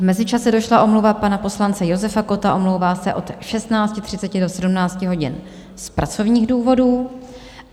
V mezičase došla omluva pana poslance Josefa Kotta, omlouvá se od 16.30 do 17 hodin z pracovních důvodů.